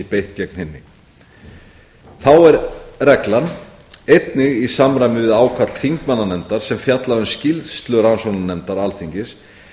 beitt gegn hinni þá er reglan einnig í samræmi við ákall þingmannanefndar sem fjallaði um skýrslu rannsóknarnefndar alþingis